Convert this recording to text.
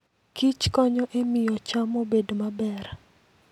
kichkonyo e miyo cham obed maber.